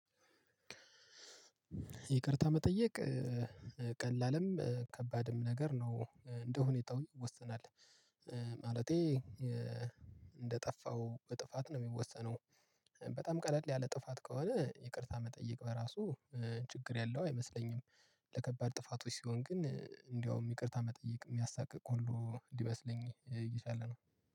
ይቅርታ መጠየቅ ቀላልም ከባድም ነገር ነው እንደሁኔታው ይወሰናል። ማለቴ እንደጠፋው ጥፋት ነው የሚወሰነው። በጣም ቀለል ያለ ጥፋት ከሆነ ይቅርታ መጠየቅ በራሱ ችግር የመያለው አይመስለኝም። ለከባድ ጥፋቶች ሲሆን ግን እንደውም ይቅርታ መጠየቅ የሚያሳቅቅ ሁሉ ሊመስለኝ እየቻለ ነው።